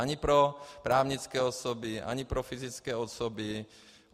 Ani pro právnické osoby ani pro fyzické osoby.